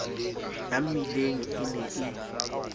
ya mmileng e ne e